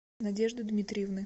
надежды дмитриевны